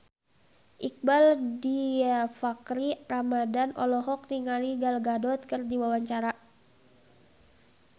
Iqbaal Dhiafakhri Ramadhan olohok ningali Gal Gadot keur diwawancara